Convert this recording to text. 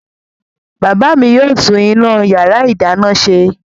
Bàbá mi yóò tún iná ìyàrá-ìdáná ṣe.